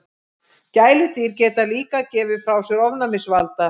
Gæludýr geta líka gefið frá sér ofnæmisvalda.